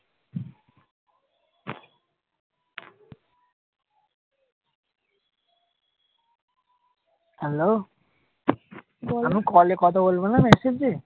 Hello? কলে কথা বলবে না নাকি?